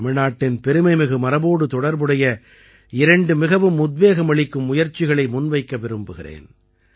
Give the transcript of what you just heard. தமிழ்நாட்டின் பெருமைமிகு மரபோடு தொடர்புடைய இரண்டு மிகவும் உத்வேகமளிக்கும் முயற்சிகளை முன்வைக்க விரும்புகிறேன்